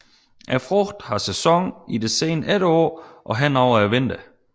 Frugten har sæson i det sene efterår og hen over vinteren